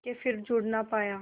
के फिर जुड़ ना पाया